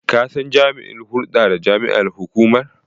Ka san jami'in hulda da jama'ar hukumar?